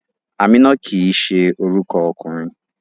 Amina kii se oruko okunrin